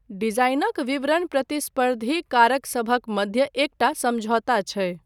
डिजाइनक विवरण प्रतिस्पर्धी कारकसभक मध्य एकटा समझौता छै।